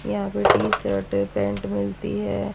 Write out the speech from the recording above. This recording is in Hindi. यहां पर टी शर्ट और पैंट मिलती है।